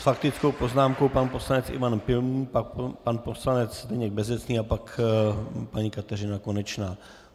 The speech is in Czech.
S faktickou poznámkou pan poslanec Ivan Pilný, potom pan poslanec Zdeněk Bezecný a pak paní Kateřina Konečná.